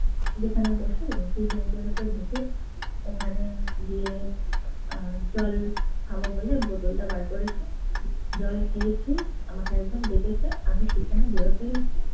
যেখানে বসি, সেই bench ভেতর ঢুকে ওখানে গিয়ে আহ জল খাবো বলে বোতলটা বার করেছি। জল খেয়েছি। আমাকে একজন ডেকেছে, আমি সেখানে বেরোতে গেছি